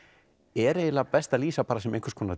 er eiginlega best að lýsa sem einhvers konar